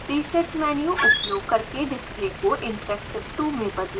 presets menu उपयोग करके display को interactive 2 में बदलें